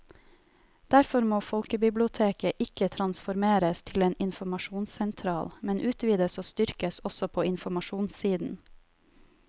Derfor må folkebiblioteket ikke transformeres til en informasjonssentral, men utvides og styrkes også på informasjonssiden.